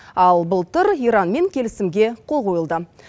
ал былтыр иранмен келісімге қол қойылды